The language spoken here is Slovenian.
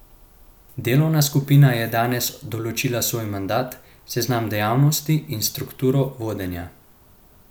Delovna skupina je danes določila svoj mandat, seznam dejavnosti in strukturo vodenja.